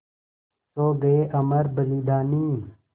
सो गये अमर बलिदानी